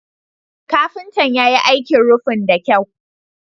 Kafintan ya yi aikin rufin da kyau.